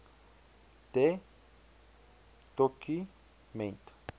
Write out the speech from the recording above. de doku ment